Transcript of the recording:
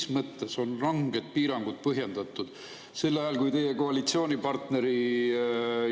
Mis mõttes on ranged piirangud põhjendatud, kui samal ajal teie koalitsioonipartneri